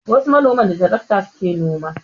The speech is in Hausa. Wasu manoman da tarakta su ke noma